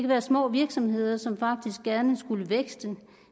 være små virksomheder som faktisk gerne skulle vækste og